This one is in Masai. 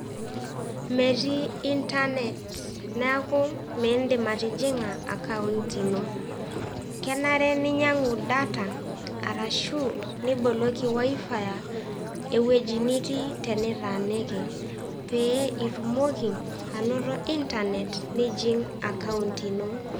Metii intanet neeku miindim atijing'a akaunt ino. kenare ninyang'u data arashu niboloki wifi ewueji nitii tenitaaniki pee itumoki anoto intanet nijing' akaunt ino.